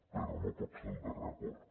però no pot ser el darrer acord